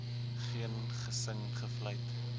geen gesing gefluit